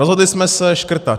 Rozhodli jsme se škrtat.